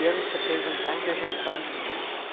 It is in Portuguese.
E eu não precisa perguntar, que eu já falo.